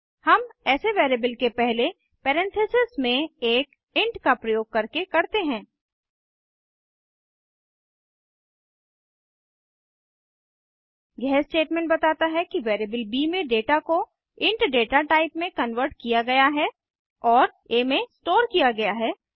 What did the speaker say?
हम ऐसे वैरिएबल के पहले परेन्थेसिस में एक इंट का प्रयोग करके करते हैं यह स्टेटमेंट बताता है कि वैरिएबल ब में डेटा को इंट डेटा टाइप में कन्वर्ट किया गया है और आ में स्टोर किया गया है